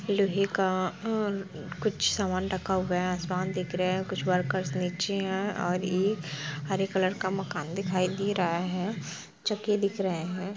लोहे का अ कुछ सामान रखा हुआ है आसमान दिख रहे है कुछ वर्कर्स नीचे है और इ हरे कलर का मकान दिखाई दे रहा है चक्की दिख रहे है।